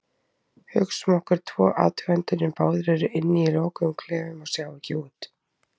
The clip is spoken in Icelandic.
Hugsum okkur tvo athugendur sem báðir eru inni í lokuðum klefum og sjá ekki út.